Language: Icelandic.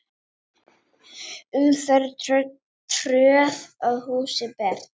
Umferð tröð að húsi ber.